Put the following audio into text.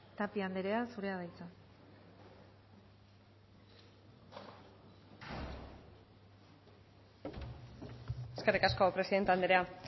tapia andrea zurea da hitza eskerrik asko presidente andrea